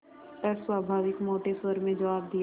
अस्वाभाविक मोटे स्वर में जवाब दिया